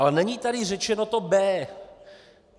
Ale není tady řečeno to B.